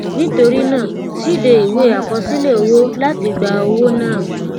nitori naa síde iwe akosile owo lati gba owo naa